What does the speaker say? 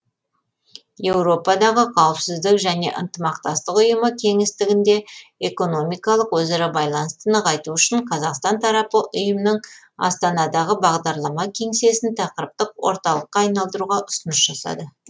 еуропадағы қауіпсіздік және ынтымақтастық ұйымы кеңістігінде экономикалық өзара байланысты нығайту үшін қазақстан тарапы ұйымның астанадағы бағдарлама кеңсесін тақырыптық орталыққа айналдыруға ұсыныс жасады